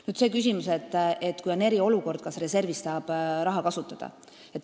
Nüüd see küsimus, et kui on eriolukord, kas siis reservist saab raha kasutada.